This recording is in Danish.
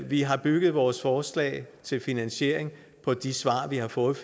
vi har bygget vores forslag til finansiering på de svar vi har fået